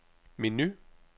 menu